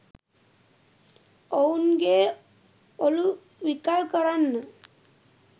ඔවුන්ගේ ඔලු විකල් කරන්න